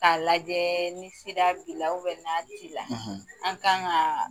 Ka lajɛɛɛ ni sida bila na t'i la; ; An ka kaaa